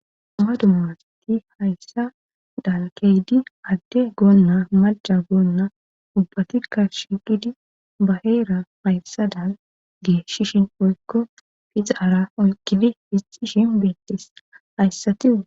dumma dumma asti hayssa dalkeydi adde goonna malca goonna ubbati kar shiqidi ba heera hayssa dan geeshishin poykko hizaara oykkidi pixi shin beettes hayssatiu